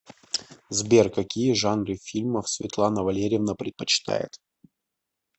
сбер какие жанры фильмов светлана валерьевна предпочитает